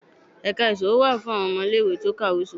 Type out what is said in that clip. ẹka isòwó wá fún awọn ọmọ ile-iwe ti o kawé iṣowo.